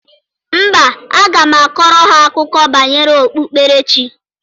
Mba, aga m akọrọ ha akụkọ banyere okpukperechi.